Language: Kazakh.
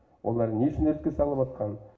олар не үшін іріткі салыватқанын